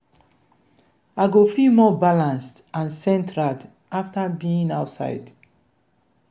i go feel more balanced and centered after being outside.